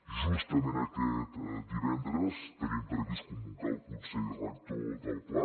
justament aquest divendres tenim previst convocar el consell rector del pla